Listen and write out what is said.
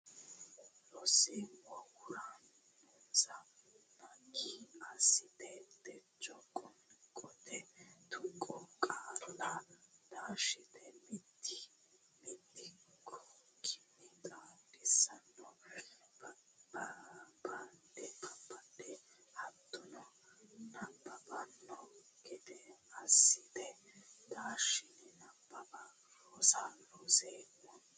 Looseemmo huuronsa naggi assatenni techo qoonqote tuqqo qaalla taashite mitii mitukkinni xaadisanna babbada hattonno nabbabbanno gede assatenni taashshe nabbawate roso ronseemmo.